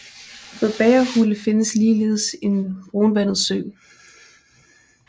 Ved Bagerhule findes ligeledes en brunvandet sø